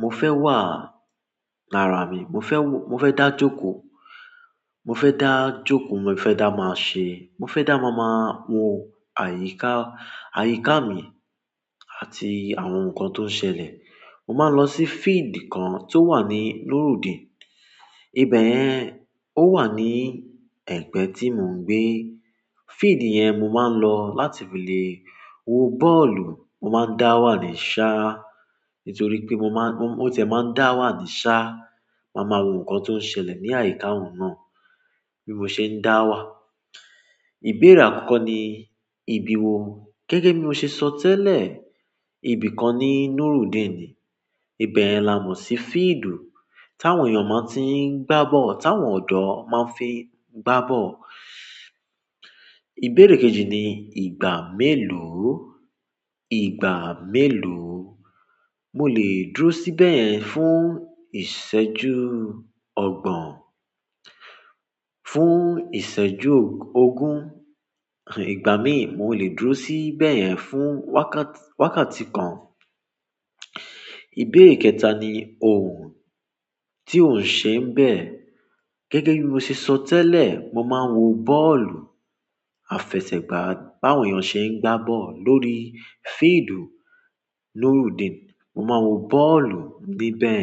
mo fẹ́ wà lára mi, mo fẹ́ wo-- mo fẹ́ dá jókòó, mo fẹ́ dá jókòó, mo fẹ́ dá máa ṣe-- mo fẹ́ dá ma máa wo àyíká, àyíká mi àti àwọn nǹkan tó ń ṣẹlẹ̀, mo máa lọ sí field kan tó wà ní Nurudeen. Ibẹ̀ yẹn, ó wà ní ẹ̀gbẹ́ tí mò ń gbé. Field yẹn mo máa ń lọ láti fi lè wo bọ́ọ̀lù, mo máa ń dá wà ní ṣáá. Nítorí pé mo máa ń, ó tẹ́ máa ń dá wà ní ṣáá, màá máa wo nǹkan tó ń ṣẹlẹ̀ ní àyíká òun náà bí mo ṣe ń dá wà. Ìbéèrè àkọ́kọ́ ni ìbí wo? Gẹ́gẹ́ bí mo ṣe sọ tẹ́lẹ̀, ibi kan ní Nurudeen ni. Ibẹ̀yen la mo sí field táwọn èèyàn máa ń tí ń gbá bọ́ọ̀lù, táwọn ọ̀dọ́ máa ń fi ń gbá bọ́ọ̀lù. Ìbéèrè kejì ni ìgbà mélòó? Ìgbà mélòó? Mo lè dúró síbẹ̀ yẹn fún ìṣẹ́jú ọgbọ̀n, fún ìṣẹ́jú ogún, ìgbà míì mo lè dúró síbẹ̀ yẹn fún wákàt-wákàtí kan. Ìbéèrè kẹta ni òhùn tí ò ń ṣe ń bẹ̀. Gẹ́gẹ́ bí mo ṣe sọ tẹ́lẹ̀, mo máa ń wo bọ́ọ̀lù. Àfẹsẹ̀gbá bá àwọn èèyàn ṣe ń gbá bọ́ọ̀lù lórí field Nurudeen. Mo máa n wo bọ́ọ̀lù níbẹ̀.